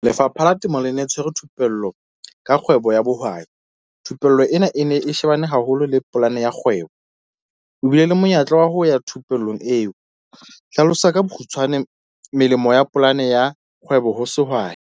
Lefapha la temo le ne le tshwere thupello ka kgwebo ya bohwai. Thupello ena e ne e shebane haholo le polane ya kgwebo. Ke bile le monyetla wa ho ya thupellong eo. Hlalosa ka bokgutshwane melemo ya polane ya kgwebo ho sehwai.